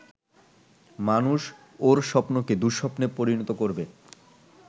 মানুষ ওর স্বপ্নকে দুঃস্বপ্নে পরিণত করবে।